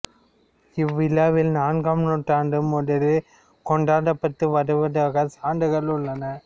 இவ்விழா நான்காம் நூற்றாண்டு முதலே கொண்டாடப்பட்டு வருவதற்கு சான்றுகள் உள்ளன